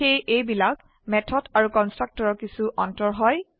সেয়ে এইবিলাক হল মেথড আৰু কনস্ট্ৰাক্টৰৰ কিছো অন্তৰ হয়